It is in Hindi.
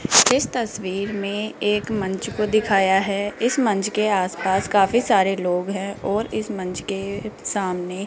इस तस्वीर में एक मंच को दिखाया है इस मंच के आस पास काफी सारे लोग हैं और इस मंच के सामने --